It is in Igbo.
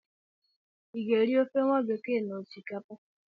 I ga-eri ofe nwabekee na osikapa?